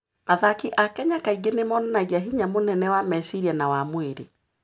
Athaki a Kenya kaingĩ nĩ monanagia hinya mũnene wa meciria na wa mwĩrĩ.